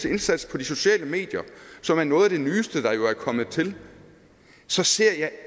indsats på de sociale medier som er noget af det nyeste der jo er kommet til så ser jeg